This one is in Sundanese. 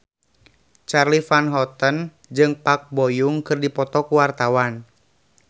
Charly Van Houten jeung Park Bo Yung keur dipoto ku wartawan